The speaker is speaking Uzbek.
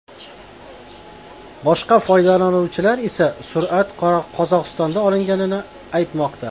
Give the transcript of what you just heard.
Boshqa foydalanuvchilar esa surat Qozog‘istonda olinganini aytmoqda.